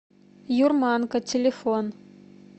юрманка телефон